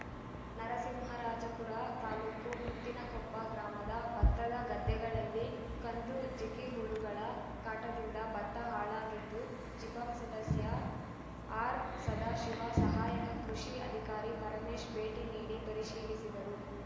ನರಸಿಂಹರಾಜಪುರ ತಾಲೂಕು ಮುತ್ತಿನಕೊಪ್ಪ ಗ್ರಾಮದ ಬತ್ತದ ಗದ್ದೆಗಳಲ್ಲಿ ಕಂದು ಜಿಗಿಹುಳಗಳ ಕಾಟದಿಂದ ಬತ್ತ ಹಾಳಾಗಿದ್ದು ಜಿಪಂ ಸದಸ್ಯ ಆರ್‌ಸದಾಶಿವ ಸಹಾಯಕ ಕೃಷಿ ಅಧಿಕಾರಿ ಪರಮೇಶ್‌ ಭೇಟಿ ನೀಡಿ ಪರಿಶೀಲಿಸಿದರು